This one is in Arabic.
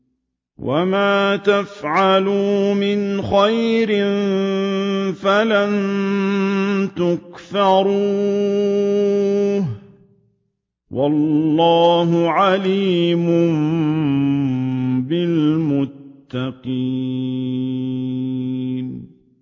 وَمَا يَفْعَلُوا مِنْ خَيْرٍ فَلَن يُكْفَرُوهُ ۗ وَاللَّهُ عَلِيمٌ بِالْمُتَّقِينَ